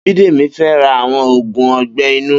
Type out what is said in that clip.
Bidemi fè rà awọn ógún ọgbẹ inu